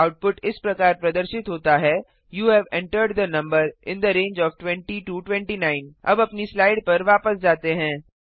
output इस प्रकार प्रदर्शित होता है you have entered the number in the range of 20 29 अब अपनी स्लाइड पर वापस जाते हैं